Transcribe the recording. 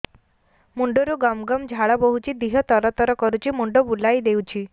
ମୁଣ୍ଡରୁ ଗମ ଗମ ଝାଳ ବହୁଛି ଦିହ ତର ତର କରୁଛି ମୁଣ୍ଡ ବୁଲାଇ ଦେଉଛି